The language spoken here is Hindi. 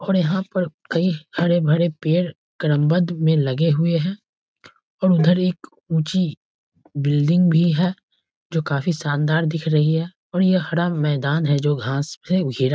और यहाँ पर कई हरे-भरे पेड़ क्रमबद्ध में लगे हुए हैं और उधर एक ऊंची बिल्डिंग भी है जो काफी शानदार दिख रही है और ये हरा मैदान है जो घास से घेरा --